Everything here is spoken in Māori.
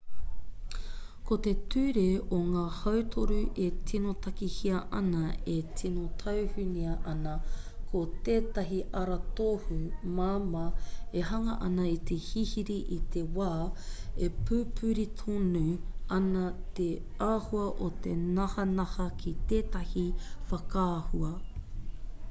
ko te ture o ngā hautoru e tino takahia ana e tino taunuhia ana ko tētahi aratohu māmā e hanga ana i te hihiri i te wā e pupuri tonu ana te āhua o te nahanaha ki tētahi whakaahua